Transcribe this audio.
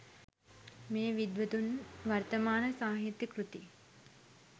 මේ විද්වතුන් වර්තමාන සාහිත්‍ය කෘති